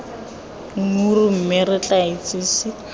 nggura mme re tla itsise